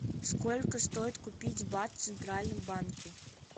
сколько стоит купить бат в центральном банке